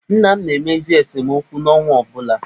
Nna m na-emezi esemokwu n'ọnwa ọ bụla.